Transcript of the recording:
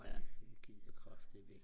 jeg gider kraftædme ikke